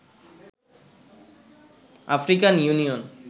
African union